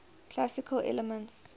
classical elements